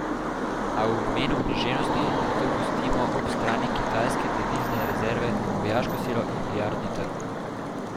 A v imenu književnosti, zato pustimo ob strani kitajske devizne rezerve, vojaško silo in milijardni trg.